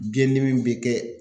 Biyɛndimi bɛ kɛ